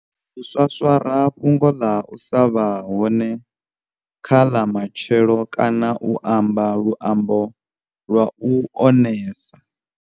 U swaswara fhungo ḽa u sa vha hone kha ḽa matshelo kana u amba luambo lwa u onesa.